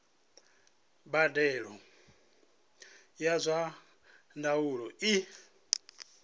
mbadelo ya zwa ndaulo i